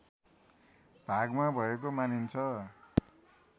भागमा भएको मानिन्छ